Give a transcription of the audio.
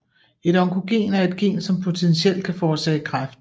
Et onkogen er et gen som potentielt kan forårsage kræft